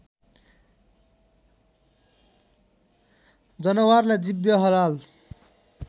जनावरलाई जिब्ह हलाल